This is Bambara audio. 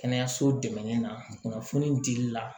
Kɛnɛyaso dɛmɛli na kunnafoni dili la